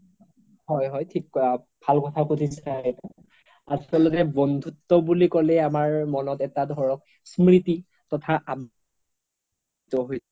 হয় হয় ভাল কথা সুধিছে আপোনি আচলতে বন্ধুত্ব বুলি ক'লে আমাৰ মনত এটা ধৰক এটা স্ম্ৰিতি তথা